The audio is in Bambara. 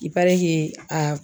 i parɛke a